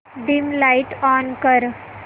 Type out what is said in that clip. dim light on कर